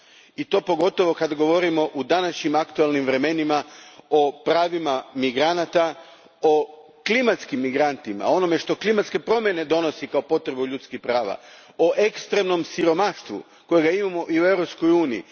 I to pogotovo kada govorimo u današnjim aktualnim vremenima o pravima migranata, o klimatskim migrantima, o onome što klimatske promjene donose kao potrebu ljudskih prava, o ekstremnom siromaštvu kojeg imamo i u Europskoj uniji.